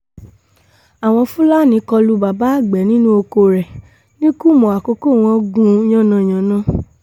àwọn fúlàní kọ lu bàbá àgbẹ̀ nínú oko rẹ̀ nìkùmọ̀ àkókò wọn gún un yánnayànna